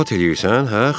Zarafat eləyirsən?